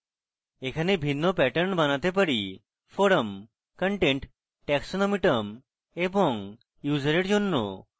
এখানে ভিন্ন প্যাটার্ন বানাতে পারি forum content taxonomy term এবং user এর জন্য